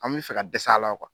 An bi fɛ ka dɛs'a la